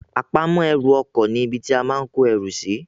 Àpamọ́ ẹrù ọkọ ní ibi tí a máa kó erù sì